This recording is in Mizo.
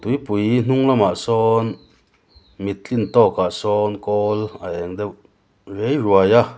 tuipui hnung lamah sawn min tlin tawkah sawn kawl a eng deuh rei ruai a--